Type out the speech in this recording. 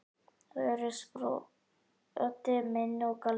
Þau eru sproti minn og galdur.